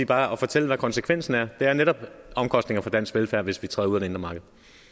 bare at fortælle hvad konsekvensen er det er netop omkostninger for dansk velfærd hvis vi træder ud af det indre marked